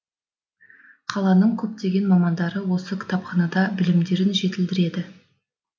қаланың көптеген мамандары осы кітапханада білімдерін жетілдіреді